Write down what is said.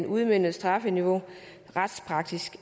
udmøntede strafniveau retspraktisk